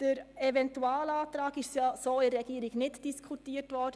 Den Eventualantrag konnte die Regierung nicht diskutieren.